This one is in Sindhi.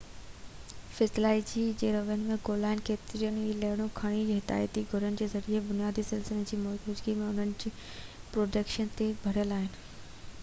فزيالاجي ۽ روين ۾ ڳوليل ڪيتريون ئي لهرون گهڻو ڪري حياتياتي گهڙين جي ذريعي بنيادي سلسلن جي موجودگي ۽ انهن جو پروڊڪشن تي ڀاڙيل آهن